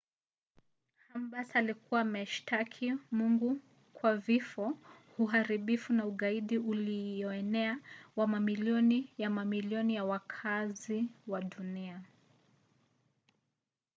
ghambers alikuwa amemshtaki mungu kwa vifo uharibifu na ugaidi uilioenea wa mamilioni ya mamilioni ya wakaazi wa dunia.